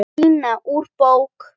Díana úr bók.